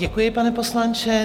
Děkuji, pane poslanče.